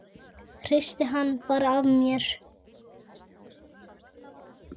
Hristi hann bara af mér.